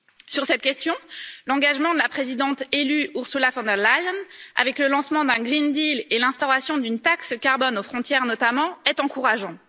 Sur cette question, l'engagement de la présidente élue Ursula von der Leyen, avec le lancement d'un Green deal et l'instauration d'une taxe carbone aux frontières, notamment, est encourageant.